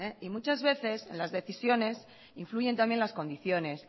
y muchas veces en las decisiones influyen también las condiciones